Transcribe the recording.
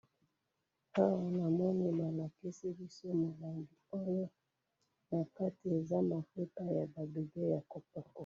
Awa namoni balakisi biso mulangi oyo, nakati eza mafuta yaba bébé yakopakola.